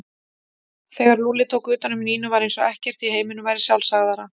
Þegar Lúlli tók utan um Nínu var eins og ekkert í heiminum væri sjálfsagðara.